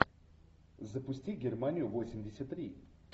запусти германию восемьдесят три